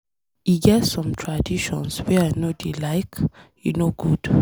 E get some traditions wey I no dey like. E no good.